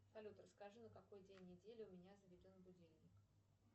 салют расскажи на какой день недели у меня заведен будильник